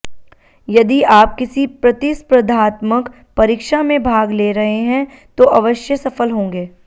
यदि आप किसी प्रतिस्पर्धात्मक परीक्षा में भाग ले रहें हैं तो अवश्य सफल होंगे